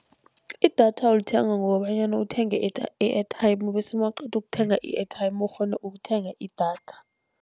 Idatha ulithenga ngokobanyana uthenge i-airtime bese mawuqeda ukuthenga i-airtime ukghone ukuthenga idatha.